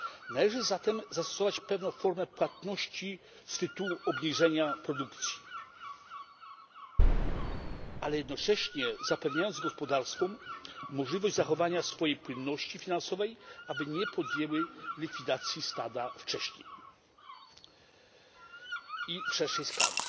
Należy zatem zastosować pewną formę płatności z tytułu obniżenia produkcji, jednocześnie zapewniając gospodarstwom możliwość zachowania swojej płynności finansowej, aby nie podjęły likwidacji stada wcześniej i w szerszej skali.